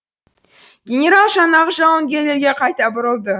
генерал жаңағы жауынгерлерге қайта бұрылды